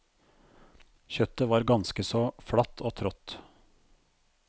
Kjøttet var ganske så flatt og trått.